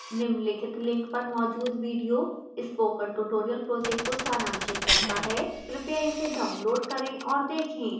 निम्नलिखित link पर मौजूद video spoken tutorial project को सारांशित करता है कृपया इसे download करें और देखें